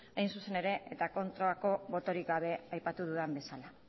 hain zuzen ere kontrako botorik gabe aipatu dudan bezala